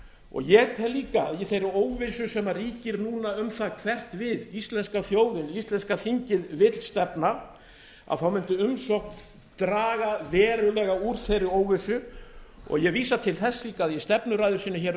og ég tel líka að í þeirri óvissu sem ríkir núna um það hvert við íslenska þjóðin íslenska þingið vill stefna þá mundi umsókn draga verulega úr þeirri óvissu og ég vísa til þess líka að í stefnuræðu sinni um